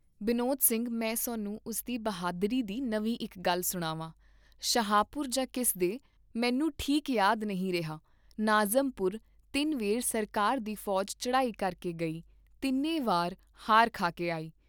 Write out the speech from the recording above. ਬਿਨੋਦ ਸਿੰਘ ਮੈਂ ਸਾਨੂੰ ਉਸ ਦੀ ਬਹਾਦਰੀ ਦੀ ਨਵੀਂ ਇਕ ਗੱਲ ਸੁਣਾਵਾਂ ਸ਼ਾਹਪੁਰ ਯਾ ਕਿਸ ਦੇ , ਮੈਨੂੰ ਠੀਕ ਯਾਦ ਨਹੀਂ ਰਿਹਾ ਨਾਜ਼ਮਪੁਰ ਤਿੰਨ ਵੇਰ ਸਰਕਾਰ ਦੀ ਫੌਜ ਚੜਾਈ ਕਰਕੇ ਗਈ ਤਿੰਨੇ ਵਾਰ ਹਾਰ ਖਾ ਕੇ ਆਈ